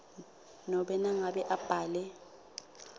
nobe nangabe abhale